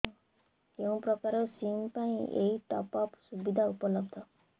କେଉଁ ପ୍ରକାର ସିମ୍ ପାଇଁ ଏଇ ଟପ୍ଅପ୍ ସୁବିଧା ଉପଲବ୍ଧ